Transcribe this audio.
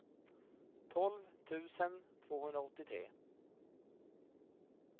tolv tusen tvåhundraåttiotre